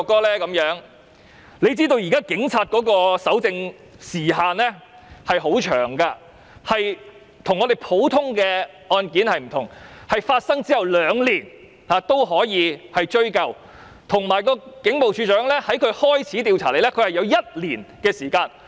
大家也知道，現時警察的搜證時限很長，與普通案件不同，在案件發生兩年後仍然可以追究，而警務處處長在知悉有關罪行後仍有1年時限。